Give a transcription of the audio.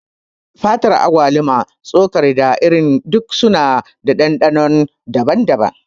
Fatar agwaluma, tsokar, da irin duk suna da ɗanɗano daban-daban.